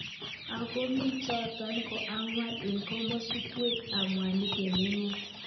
Ako mi chotok ko angwan eng kimostunwek ab mwanik emg emet.